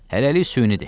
Hələlik süynidir.